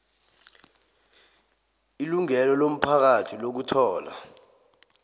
ilungelo lomphakathi lokuthola